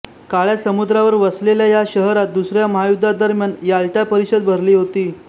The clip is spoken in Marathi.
काळ्या समुद्रावर वसलेल्या या शहरात दुसऱ्या महायुद्धादरम्यान याल्टा परिषद भरली होती